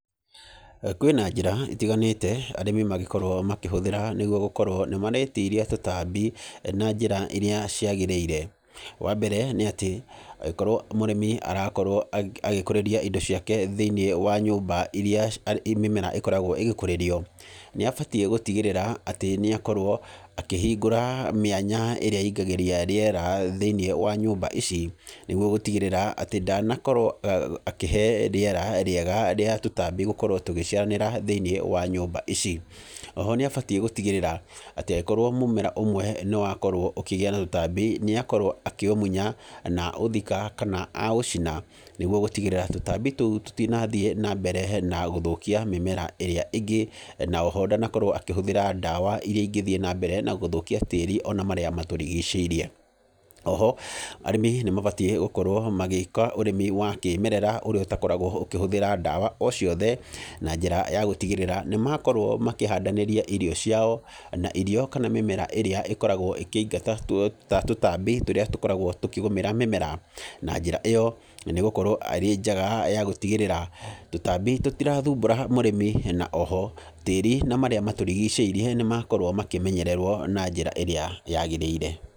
Kwĩna njĩra itiganĩte arĩmi mangĩkorwo makĩhũthĩra nĩguo gũkorwo nĩ maretiria tũtambi na njĩra iria ciagĩrĩire. Wa mbere nĩ atĩ angĩkorwo mũrĩmi arakorwo agĩkũrĩria indo ciake thĩiniĩ wa nyũmba iria mĩmera ĩkoragwo ĩgĩkũrĩrio, nĩ abatiĩ gũtigĩrĩra atĩ nĩ akorwo akĩhingũra mĩanya ĩrĩa ingagĩria rĩera thĩiniĩ wa nyũmba ici nĩguo gũtigĩrĩra atĩ ndanakorwo akĩhe rĩera rĩega rĩa tũtambi gũkorwo tũgĩciaranĩra thĩiniĩ wa nyũmba ici. Oho nĩ abatiĩ gũtigĩrĩra atĩ angĩkorwo mũmera ũmwe nĩ wakorwo ũkĩgĩa na tũtambi, nĩ akorwo akĩũmunya na aũthika, kana a ũciina nĩguo gũtigĩrĩra tũtambi tũu tũtinathiĩ na mbere na gũthũkia mĩmera ĩrĩa ĩngĩ, na oho ndanakorwo akĩhũthĩra ndawa iria ingĩthiĩ na mbere na gũthũkia tĩĩri, ona marĩa matũrigicĩirie. Oho arĩmi nĩ mabatiĩ gũkorwo magĩka ũrĩmi wa kĩmerera ũrĩa ũtakoragwo ũkĩhũthĩra ndawa o ciothe, na njĩra ya gũtigĩrĩra nĩ makorwo makĩhandanĩria irio ciao na irio kana mĩmera ĩrĩa ĩkoragwo ĩkĩingata tũtambi tũrĩa tũkoragwo tũkĩgũmĩra mĩmera. Na njĩra ĩyo nĩ gũkorwo ĩrĩ njega ya gũtigĩrĩra tũtambi tũtirathumbũra mũrĩmi na oho tĩĩri na marĩa matũrigicĩirie nĩ makorwo makĩmenyererwo na njĩra ĩrĩa yagĩrĩire.